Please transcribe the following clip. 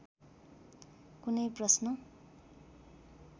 कुनै प्रश्न